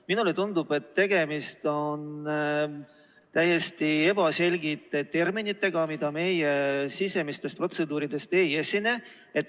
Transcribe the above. Minule tundub, et tegemist on täiesti ebaselgete terminitega, mida meie sisemistes protseduurides ei nimetata.